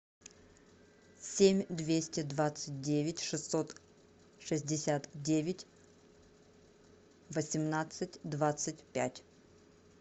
семь двести двадцать девять шестьсот шестьдесят девять восемнадцать двадцать пять